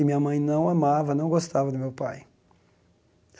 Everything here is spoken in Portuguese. E minha mãe não amava, não gostava do meu pai.